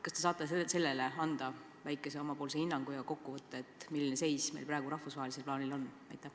Kas te saate anda sellele väikese hinnangu ja kokkuvõtte, milline seis meil praegu rahvusvahelises plaanis on?